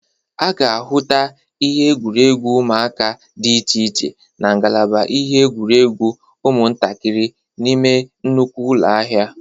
A ga-ahụta ihe egwuregwu ụmụaka dị iche iche na ngalaba ihe igwuregwu ụmụntakịrị n'ime nnukwu ụlọ ahịa.